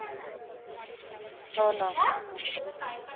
हो न